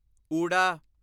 ਓੂੜਾ